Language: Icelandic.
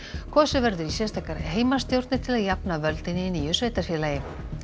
kosið verður í sérstakar heimastjórnir til að jafna völdin í nýju sveitarfélagi